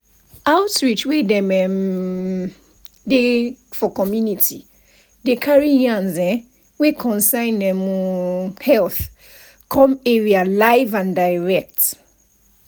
outreach wey dem um dey for community dey carry yarns[um]wey concern um health come area live and direct.